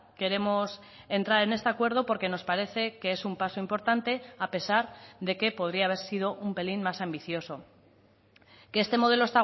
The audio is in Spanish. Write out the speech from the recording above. queremos entrar en este acuerdo porque nos parece que es un paso importante a pesar de que podría haber sido un pelín más ambicioso que este modelo